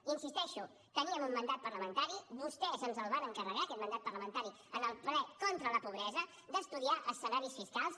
hi insisteixo teníem un mandat parlamentari vostès ens el van encarregar aquest mandat parlamentari en el ple contra la pobresa d’estudiar escenaris fiscals